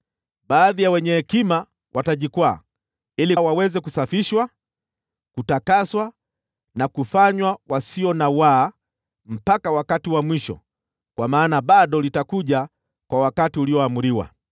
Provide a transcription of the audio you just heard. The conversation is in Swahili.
Baadhi ya wenye hekima watajikwaa, ili waweze kusafishwa, kutakaswa na kufanywa wasio na waa mpaka wakati wa mwisho, kwa maana bado litakuja kwa wakati ulioamriwa.